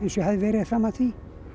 ég hafði verið fram að því